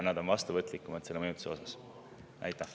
Nad on sellele mõjutusele vastuvõtlikumad.